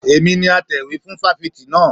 Èmi ni atẹ̀wé fún fáfitì naa